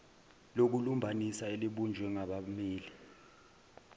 lokulumbanisa elibunjwe ngabammeli